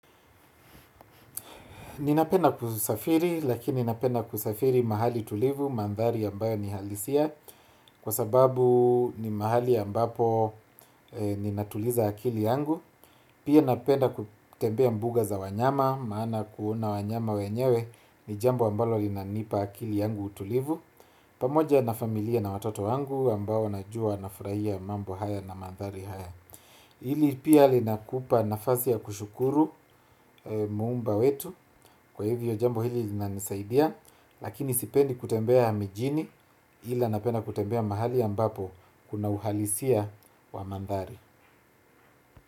Ninapenda kusafiri, lakini napenda kusafiri mahali tulivu, mandhari ambayo ni halisia, kwa sababu ni mahali ambapo ninatuliza akili yangu. Pia napenda kutembea mbuga za wanyama, maana kuona wanyama wenyewe, ni jambo ambalo linanipa akili yangu utulivu. Pamoja na familia na watoto wangu, ambao najua nafurahia mambo haya na mandhari haya. Hili pia linakupa nafasi ya kushukuru Muumba wetu, kwa hivyo jambo hili linanisaidia lakini sipendi kutembea mijini ila napenda kutembea mahali ambapo kuna uhalisia wa mandhari.